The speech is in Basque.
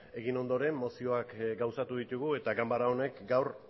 egin ondoren mozioak gauzatu ditugu eta ganbara honek gaur